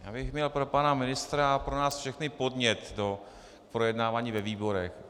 Já bych měl pro pana ministra a pro nás všechny podnět pro projednávání ve výborech.